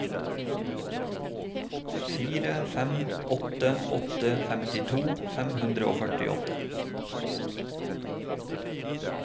fire fem åtte åtte femtito fem hundre og førtiåtte